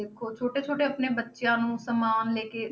ਦੇਖੋ ਛੋਟੇ ਛੋਟੇ ਆਪਣੇ ਬੱਚਿਆਂ ਨੂੰ ਸਮਾਨ ਲੈ ਕੇ